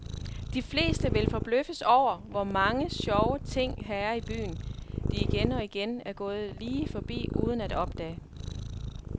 De fleste vil forbløffes over, hvor mange sjove ting her i byen, de igen og igen er gået lige forbi uden at opdage.